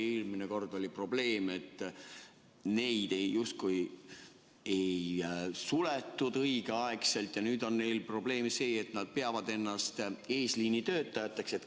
Eelmine kord oli probleem, et neid asutusi justkui ei suletud õigel ajal, ja nüüd on neil probleem see, et nad peavad ennast eesliinitöötajateks.